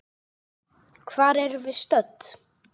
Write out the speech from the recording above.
Hvar erum við stödd?